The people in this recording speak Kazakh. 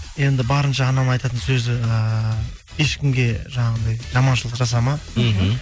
енді барынша анамның айтатын сөзі ыыы ешкімге жаңағындай жаманшылық жасама мхм